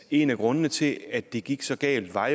en af grundene til at det gik så galt var